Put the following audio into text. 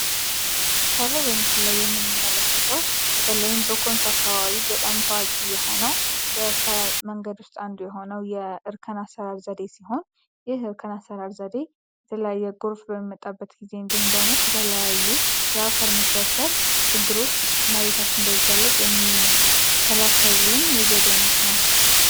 ከላይ በምስሉ የምንመለከተው በተለይም በኮንሶ አካባቢ በጣም ታዋቂ የሆነው መንገዶች አንዱ የሆነው የ እርከን አሰራር ዘዴ ሲሆን ዘዴዎች በመጣበት ጊዜ እንዲሁም ደግሞ ከተለያዩ የአፈር መሸርሸር ችግሮች መሬታችን ይጋለጥ የሚከላከልን የዘይት ነው